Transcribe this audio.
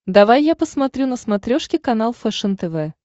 давай я посмотрю на смотрешке канал фэшен тв